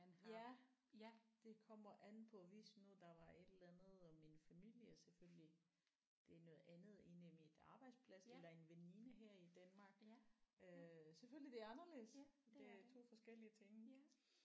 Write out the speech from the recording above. Ja ja det kommer an på hvis nu der var et eller andet om min familie selvfølgelig det er noget andet end i mit arbejdsplads eller en veninde her i Danmark øh selvfølgelig det er anderledes det er 2 forskellige ting